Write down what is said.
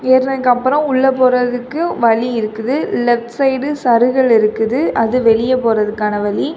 ஏறுனதுக்கு அப்புறம் உள்ள போறதுக்கு வழி இருக்குது லெஃப்ட் சைடு சருகள் இருக்குது அது வெளியே போறதுக்கான வழி.